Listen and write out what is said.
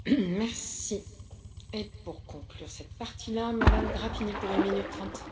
Doamnă președintă, domnule comisar, combaterea comerțului ilicit este o necesitate.